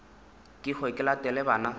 ke hwe ke latele bana